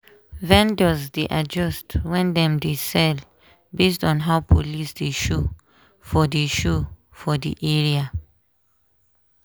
vendors dey adjust when dem dey sell based on how police dey show for dey show for the area.